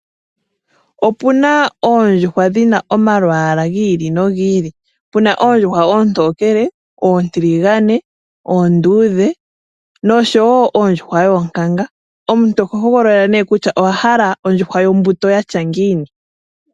Opuna oondjuhwa dhina omalwaala giili nogiili, puna oontokele, oontiligane, oonduudhe nosho woo oondjuhwa yoonkanga omuntu oho hogolola nee kutya owa hala kutya owahala ondjuhwa yatya ngiini.